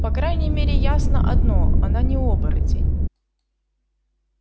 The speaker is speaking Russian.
по крайней мере ясно одно она не оборотень